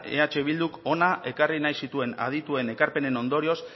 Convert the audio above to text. eh bilduk hona ekarri nahi zituen aditu ekarpenen ondorioz